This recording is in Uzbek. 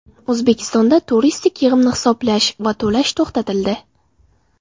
O‘zbekistonda turistik yig‘imni hisoblash va to‘lash to‘xtatildi.